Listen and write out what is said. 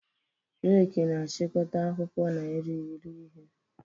Reki na-achịkọta akwụkwọ na irighiri ihe.